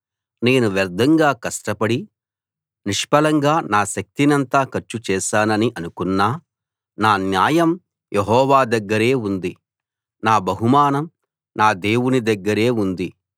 నేను వ్యర్థంగా కష్టపడి నిష్ఫలంగా నా శక్తినంతా ఖర్చుచేశానని అనుకున్నా నా న్యాయం యెహోవా దగ్గరే ఉంది నా బహుమానం నా దేవుని దగ్గరే ఉంది